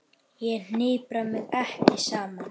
Ég hnipra mig ekki saman.